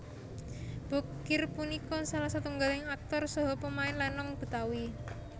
Bokir punika salah setunggaling aktor saha pemain lénong Betawi